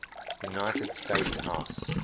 united states house